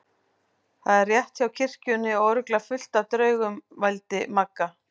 Þetta er rétt hjá kirkjunni og örugglega fullt af draugum. vældi Magga.